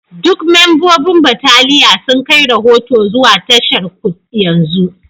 Duk membobin bataliya sun kai rahoto zuwa tasharku yanzu